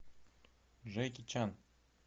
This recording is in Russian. джеки чан